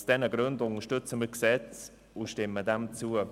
Aus diesen Gründen unterstützen wir das Gesetz und stimmen diesem zu.